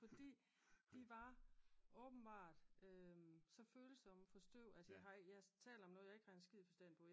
Fordi de var åbenbart så følsomme for støv at jeg har jeg taler om noget jeg ikke har en skid forstand på